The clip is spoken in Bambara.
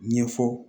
Ɲɛfɔ